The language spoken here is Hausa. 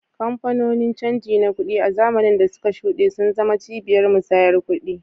Kamfanonin canji na kuɗi, a zamanin da suka shuɗe, sun zama cibiyar musayar kuɗi.